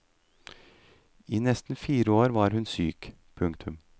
I nesten fire år var hun syk. punktum